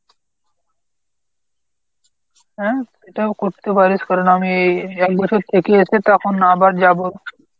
হ্যাঁ এটাও করতে পারিস কারণ আমি একবছর থেকে এসে তখন আবার যাব।